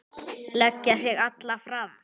Leggja sig alla fram.